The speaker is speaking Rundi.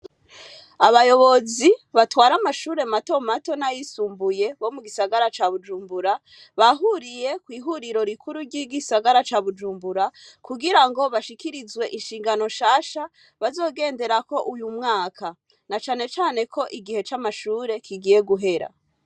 Abayobozi batwara amashure mato mato n'ayisumbuye, bo mu gisagara ca Bujumbura, bahuriye kw'ihuriro rikuru ry'igisagara ca Bujumbura, kugira ngo bashikirizwe inshingano nshasha bazogenderako uyu mwaka. Na cane cane ko igihe c'amashure kigiye guhera.